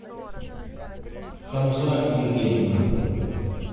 хамза евгеньевна